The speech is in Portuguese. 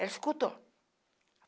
Ela escutou?